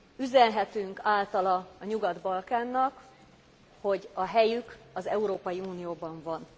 Üzenhetünk általa a Nyugat Balkánnak, hogy a helyük az Európai Unióban van.